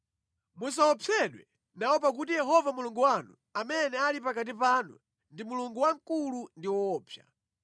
Musaopsedwe nawo pakuti Yehova Mulungu wanu, amene ali pakati panu, ndi Mulungu wamkulu ndi woopsa.